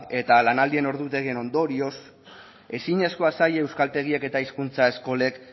eta lanaldien ordutegien ondorioz ezinezkoa zaie euskaltegiak eta hizkuntza eskolek